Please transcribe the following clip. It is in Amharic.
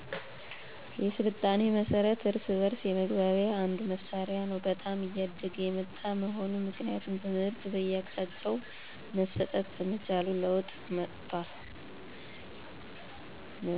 የሥልጣኔ መሠረት እርስ በእርስ የመግባቢያ አንዱ መሣሪያ ነው በጣም እያደገ የመጣ መሆኑ ምክንያቱም ትምህር በየአቅጣጫው መሠጠት በመቻሉ ለወጥ መጠቷል